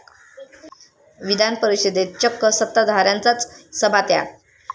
विधान परिषदेत चक्क सत्ताधाऱ्यांचाच सभात्याग